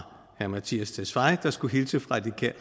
herre mattias tesfaye der skulle hilse fra de